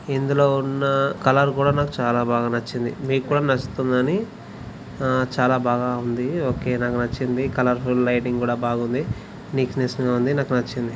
ఇందులో ఉన్న కలర్ కూడా నాకు బాగా నచ్చింది .మీకు కూడా నచ్చుతుందా అని చాలా బాగా ఉంది. ఓకే నాకు నచ్చింది. కలర్ఫుల్ లైటింగ్ కూడా బాగ ఉంది. నీట్ నెస్ గా ఉంది నాకు నచ్చింది.